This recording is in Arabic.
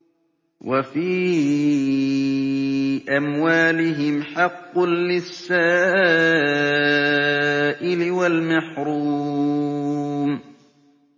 وَفِي أَمْوَالِهِمْ حَقٌّ لِّلسَّائِلِ وَالْمَحْرُومِ